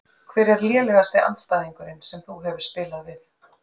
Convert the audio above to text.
Hver er lélegasti andstæðingurinn sem þú hefur spilað við?